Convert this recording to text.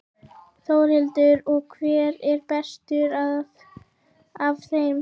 Þórhildur: Og hver er bestur af þeim?